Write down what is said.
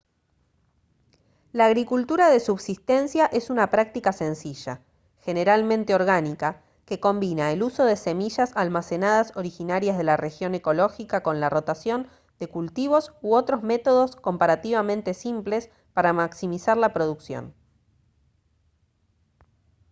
la agricultura de subsistencia es una práctica sencilla generalmente orgánica que combina el uso de semillas almacenadas originarias de la región ecológica con la rotación de cultivos u otros métodos comparativamente simples para maximizar la producción